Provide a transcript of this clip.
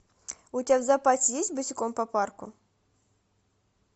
у тебя в запасе есть босиком по парку